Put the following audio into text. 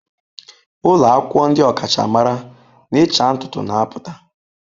Ụlọ akwụkwọ ndị ọkachamara n'ịcha ntutu na-apụta.